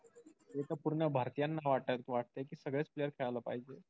ते तर पूर्ण भारतीयांना वाटतंय कि सगळेच player खेळायला पाहिजे.